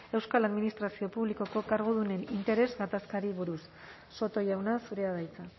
euskal administrazio publikoko kargudunen interes gatazkari buruz soto jauna zurea da hitza